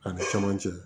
Ani camancɛ